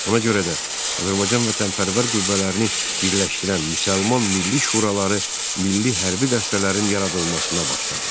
Ona görə də Azərbaycan vətənpərvər qüvvələrini birləşdirən Müsəlman Milli Şuraları milli hərbi dəstələrin yaradılmasına başladı.